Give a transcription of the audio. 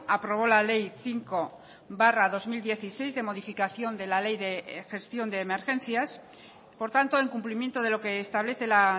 aprobó la ley cinco barra dos mil dieciséis de modificación de la ley de gestión de emergencias por tanto en cumplimiento de lo que establece la